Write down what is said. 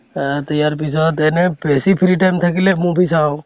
অহ তে ইয়াৰ পিছত এনে বেছি free time থাকিলে movie চাওঁ